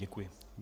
Děkuji.